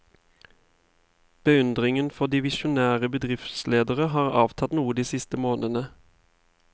Beundringen for de visjonære bedriftsledere har avtatt noe de siste månedene.